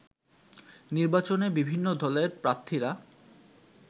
নির্বাচনে বিভিন্ন দলের প্রার্থীরা